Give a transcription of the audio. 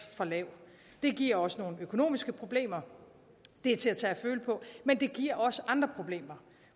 for lav det giver os nogle økonomiske problemer det er til at tage og føle på men det giver også andre problemer